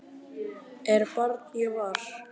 er barn ég var